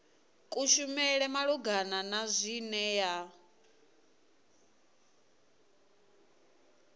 kushumele malugana na zwine ya